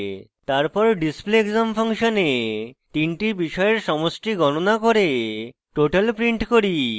তারপর display _ exam ফাংশনে তিনটি বিষয়ের সমষ্টি গণনা করে total print করি